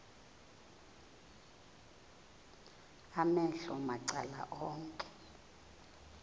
amehlo macala onke